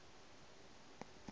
ge le aba aba la